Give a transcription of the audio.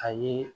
A ye